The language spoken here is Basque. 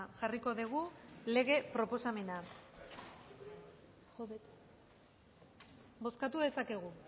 jarriko dugu lege proposamena bozkatu dezakegu